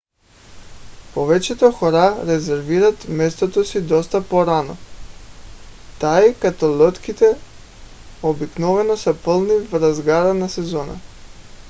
повечето хора резервират мястото си доста по - рано тъй като лодките обикновено са пълни в разгара на сезона